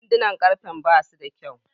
Sandunan karfe basu da kyau.